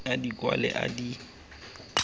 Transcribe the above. a di kwale a di